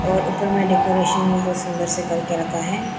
और ऊपर में डेकोरेशन बहुत सुंदर से कर के रखा है।